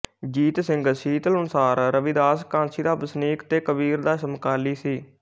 ਜੀਤ ਸਿੰਘ ਸੀਤਲ ਅਨੁਸਾਰ ਰਵਿਦਾਸ ਕਾਸ਼ੀ ਦਾ ਵਸਨੀਕ ਤੇ ਕਬੀਰ ਦਾ ਸਮਕਾਲੀ ਸੀ